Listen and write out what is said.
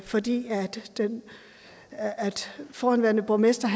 fordi den forhenværende borgmester